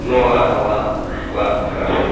ну ладно ладно ладно хорошо